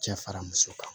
Cɛ fara muso kan